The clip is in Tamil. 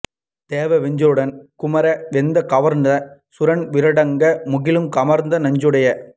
வேத விஞ்சையருடன் குமுற வெந்து கவடர்ந்த சூரன் வீறடங்க முகிலும் கமற நஞ்சுடைய